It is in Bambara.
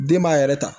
Den b'a yɛrɛ ta